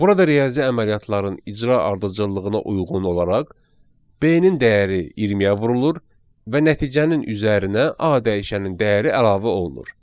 Burada riyazi əməliyyatların icra ardıcıllığına uyğun olaraq B-nin dəyəri 20-yə vurulur və nəticənin üzərinə A dəyişənin dəyəri əlavə olunur.